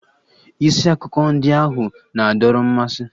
Isi akụkọ ndị ahụ na-adọrọ mmasị.